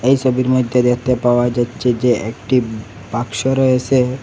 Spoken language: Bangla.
এই ছবির মধ্যে দেখতে পাওয়া যাচ্ছে যে একটি বাক্স রয়েছে।